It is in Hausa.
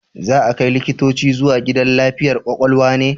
Za a kai likitoci zuwa gidan lafiyar kwakwalwa ne?